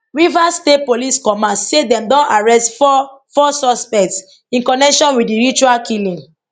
rivers state police command say dem don arrest four four suspects in connection wit di ritual killing